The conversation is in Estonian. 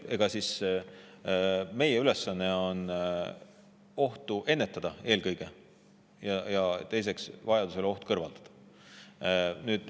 Eks meie ülesanne on eelkõige ohtu ennetada ja vajaduse korral oht kõrvaldada.